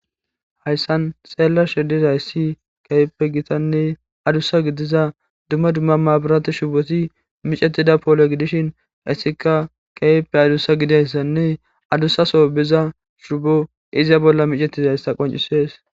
hayssan xeellashe dizayssi keheppe gitanne adussa gidiza dumma dumma maabirati shuboti micetida poole gidishin essika keyeppe adussa gidayssanne adussaso biza shubo iza bolla micetizayssa qoncisees